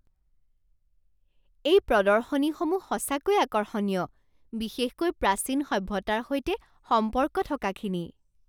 এই প্ৰদৰ্শনীসমূহ সঁচাকৈয়ে আকৰ্ষণীয়, বিশেষকৈ প্ৰাচীন সভ্যতাৰ সৈতে সম্পৰ্ক থকাখিনি।